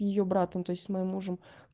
её братом то есть с моим мужем